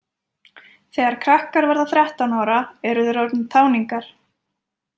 Þegar krakkar verða þrettán ára eru þeir orðnir táningar.